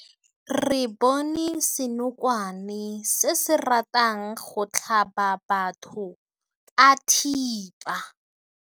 Re bone senokwane se se ratang go tlhaba batho ka thipa.